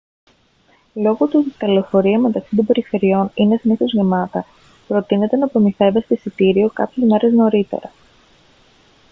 λόγω του ότι τα λεωφορεία μεταξύ των περιφερειών είναι συνήθως γεμάτα προτείνεται να προμηθεύεστε εισιτήριο κάποιες μέρες νωρίτερα